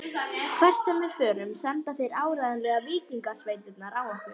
Hvert sem við förum senda þeir áreiðanlega víkingasveitirnar á okkur.